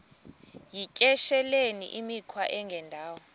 yityesheleni imikhwa engendawo